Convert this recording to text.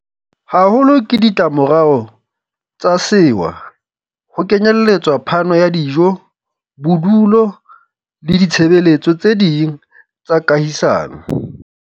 haholo ke ditlamorao tsa sewa, ho kenyeletswa phano ya dijo, bodulo le ditshebe letso tse ding tsa kahisano.